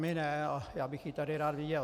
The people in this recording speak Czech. My ne a já bych ji tady rád viděl.